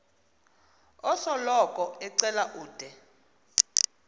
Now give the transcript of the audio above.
osoloko ecela ude